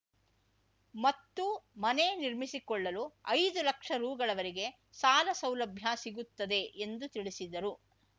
ಮತ್ತು ಮನೆ ನಿರ್ಮಿಸಿಕೊಳ್ಳಲು ಐದು ಲಕ್ಷ ರೂಗಳವರೆಗೆ ಸಾಲ ಸೌಲಭ್ಯ ಸಿಗುತ್ತದೆ ಎಂದು ತಿಳಿಸಿದರು